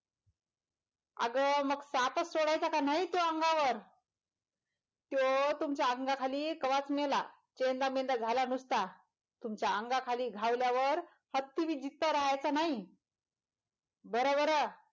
अंग मग सापच सोडायचं की न्हय तू अंगावर तो तुमच्या अंगाखाली कवाच मेला चेंदामेंदा झाला नुसता तुमचा अंगाखाली गावल्यावर हत्ती बी जित्ता रहायाच नाही बर बर.